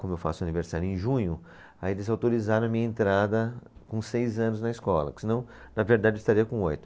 Como eu faço aniversário em junho, aí eles autorizaram a minha entrada com seis anos na escola, porque senão, na verdade, eu estaria com oito.